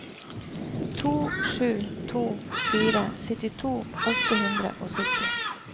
to sju to fire syttito åtte hundre og sytti